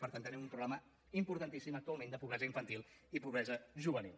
per tant tenim un problema importantíssim actualment de pobresa infantil i pobresa juvenil